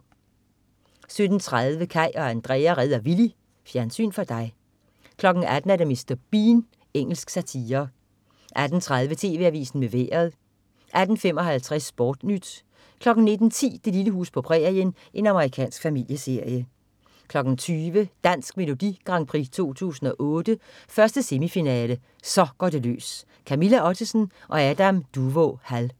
17.30 Kaj og Andrea redder Willy. Fjernsyn for dig 18.00 Mr. Bean. Engelsk satire 18.30 TV AVISEN med Vejret 18.55 SportNyt 19.10 Det lille hus på prærien. Amerikansk familieserie 20.00 Dansk Melodi Grand Prix 2008. 1. semifinale. Så går det løs. Camilla Ottesen og Adam Duvå Hall